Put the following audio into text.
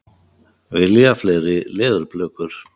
Vilja fleiri leðurblökur